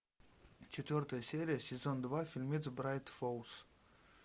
четвертая серия сезон два фильмец брайт фоллс